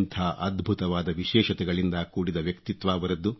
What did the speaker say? ಎಂಥ ಅದ್ಭುತವಾದ ವಿಶೇಷತೆಗಳಿಂದ ಕೂಡಿದ ವ್ಯಕ್ತಿತ್ವ ಅವರದ್ದು